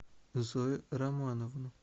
зою романовну